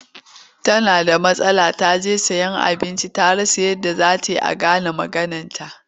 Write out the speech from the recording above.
Tana da matsala ta je sayen abinci ta rasa yadda za ta yi a gane maganarta.